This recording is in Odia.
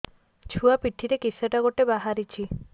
ଛୁଆ ପିଠିରେ କିଶଟା ଗୋଟେ ବାହାରିଛି